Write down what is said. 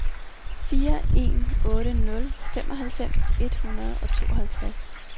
fire en otte nul femoghalvfems et hundrede og tooghalvtreds